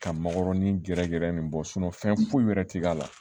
Ka makɔrɔni gɛrɛgɛrɛ in bɔ fɛn foyi wɛrɛ ti k'a la